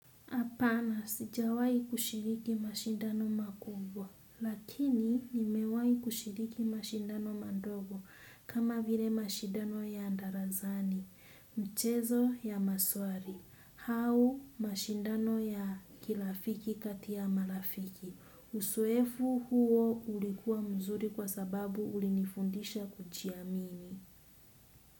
Apana sijawai kushiriki mashindano makubwa, lakini nimewahi kushiriki mashindano madogo kama vile mashindano ya darasani, mchezo ya maswali, au mashindano ya kirafiki kati ya marafiki. Uzoefu huo ulikuwa mzuri kwa sababu ulinifundisha kujiamini.